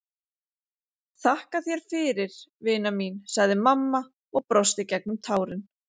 Þakka þér fyrir, vina mín, sagði mamma og brosti gegnum tárin.